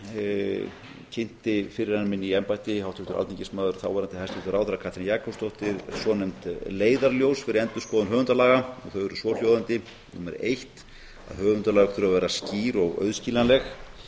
tækifæri kynnti forveri minn í embætti háttvirtur alþingis og þáverandi hæstvirtur ráðherra katrín jakobsdóttir svonefnd leiðarljós fyrir endurskoðun höfundalaga þau eru svohljóðandi a eitt að höfundalög þurfa að vera skýr og auðskiljanleg